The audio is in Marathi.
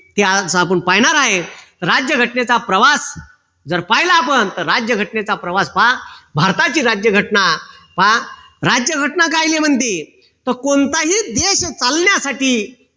त्यावेळेस आपण पायनार आहे राज्यघटनेचा प्रवास जर पाहिला आपण राज्यघटनेचा प्रवास पहा. भारताची राज्यघटना पहा. राज्यघटना कायले म्हणते तर कोणताही देश चालण्यासाठी